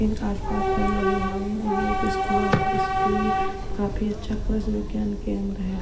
एक आस पास पेड़ लगे हुए हैं ये एक स्कूल हैं स्कूल काफी अच्छा कृषि विज्ञान केंद्र हैं।